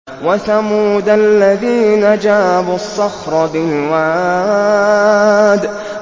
وَثَمُودَ الَّذِينَ جَابُوا الصَّخْرَ بِالْوَادِ